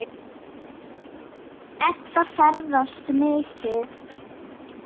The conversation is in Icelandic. Edda ferðast mikið.